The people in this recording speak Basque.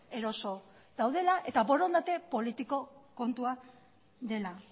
eroso daudela eta borondate politiko kontua dela